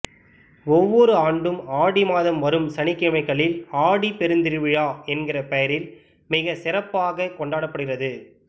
ஒவ்வொரு ஆண்டும் ஆடி மாதம் வரும் சனிக்கிழமைகளில் ஆடிப் பெருந்திருவிழா என்கிற பெயரில் மிகச் சிறப்பாக கொண்டாடப்படுகிறது